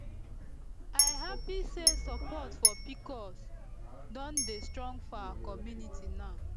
i happy say support for pcos don dey strong for our community now